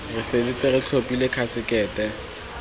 re feditse re tlhophile khasekete